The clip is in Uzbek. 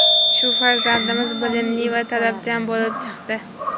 Shu farzandimiz bilimli va talabchan bo‘lib chiqdi.